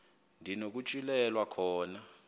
ndi nokutyhilelwa khona